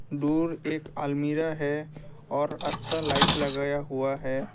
दूर एक अल्मीरा है और अच्छा लाइट लगाया हुआ है।